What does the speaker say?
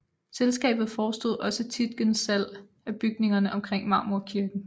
Selskabet forestod også Tietgens salg af bygningerne omkring Marmorkirken